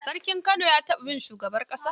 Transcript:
Sarkin Kano ya tarbi shugaban ƙasa.